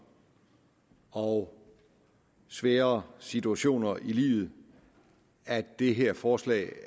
og svære situationer i livet at det her forslag